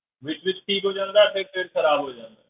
ਵਿੱਚ ਵਿੱਚ ਠੀਕ ਹੋ ਜਾਂਦਾ ਤੇ ਫਿਰ ਖ਼ਰਾਬ ਹੋ ਜਾਂਦਾ ਹੈ।